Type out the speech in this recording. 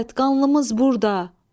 Qanlımız burda.